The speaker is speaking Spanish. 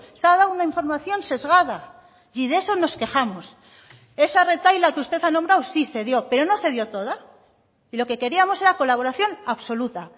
se ha dado una información sesgada y de eso nos quejamos esa retahíla que usted ha nombrado sí se dio pero no se dio toda y lo que queríamos era colaboración absoluta